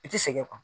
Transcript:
I ti sɛgɛn kɔ